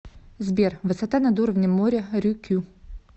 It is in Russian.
сбер высота над уровнем моря рюкю